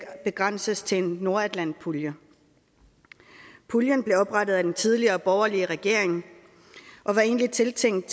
begrænses til nordatlantpuljen puljen blev oprettet af den tidligere borgerlige regering og var egentlig tiltænkt